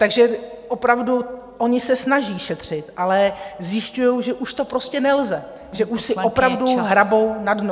Takže opravdu oni se snaží šetřit, ale zjišťují, že už to prostě nelze, že už si opravdu hrabou na dno.